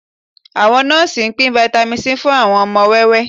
Àwọn nọ́ọ́sì ń pín Vitamin C fún àwọn ọmọ wẹ́wẹ́